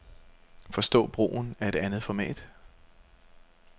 Forstå brugen af et andet format.